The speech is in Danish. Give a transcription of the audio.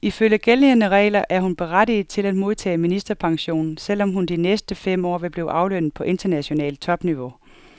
Ifølge gældende regler er hun berettiget til at modtage ministerpension, selv om hun de næste fem år vil blive aflønnet på internationalt topniveau.